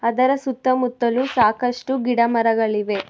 ಅದರ ಸುತ್ತಮುತ್ತಲು ಸಾಕಷ್ಟು ಗಿಡ ಮರಗಳಿವೆ.